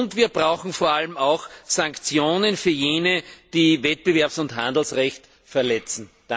Und wir brauchen vor allem auch Sanktionen für jene, die Wettbewerbs und Handelsrecht verletzen.